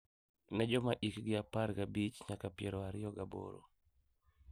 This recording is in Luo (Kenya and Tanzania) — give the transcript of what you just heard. Ne joma hikgi apar gi abich nyaka piero ariyo gi aboro,